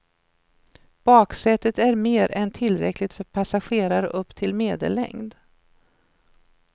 Baksätet är mer än tillräckligt för passagerare upp till medellängd.